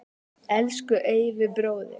Elsku Eyvi bróðir.